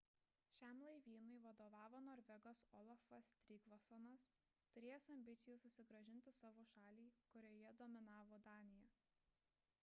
šiam laivynui vadovavo norvegas olafas trygvassonas turėjęs ambicijų susigrąžinti savo šalį kurioje dominavo danija